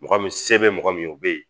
Mɔgɔ min sɛbɛn bɛ mɔgɔ min ye o bɛ yen.